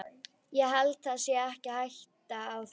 Ég held það sé ekki hætta á því.